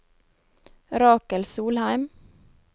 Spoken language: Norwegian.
Rakel Solheim